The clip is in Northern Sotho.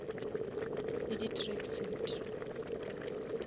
le di track suit